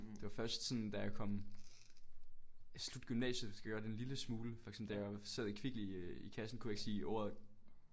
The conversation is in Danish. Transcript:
Men det var først sådan da jeg kom i slut gymnasiet så gjorde jeg det en lille smule for eksempel da jeg sad i Kvickly i kassen der kunne jeg ikke sige ordet